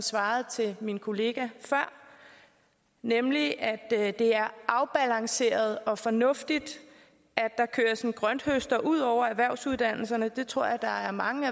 svarede til min kollega før nemlig at det er afbalanceret og fornuftigt at der køres en grønthøster ud over erhvervsuddannelserne det tror jeg der er mange